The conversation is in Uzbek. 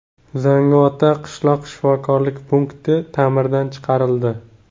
Zangiotada qishloq shifokorlik punkti ta’mirdan chiqarildi.